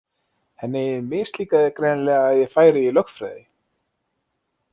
Henni mislíkaði greinilega að ég færi í lögfræði.